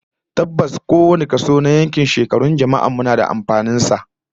Tabbas, kowane kaso na shekarun jama'ar yankin mu yana da alfanun sa